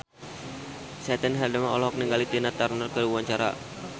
Caitlin Halderman olohok ningali Tina Turner keur diwawancara